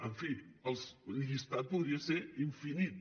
en fi el llistat podria ser infinit